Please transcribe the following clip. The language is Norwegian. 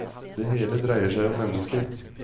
Det hele dreier seg om mennesker.